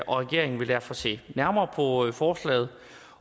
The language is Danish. regeringen vil derfor se nærmere på forslaget